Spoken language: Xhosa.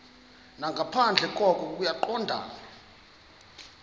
nangaphandle koko kungaqondani